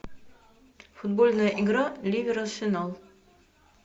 футбольная игра ливер арсенал